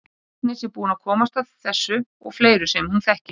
Agnes er búin að komast að þessu og fleiri sem hún þekkir.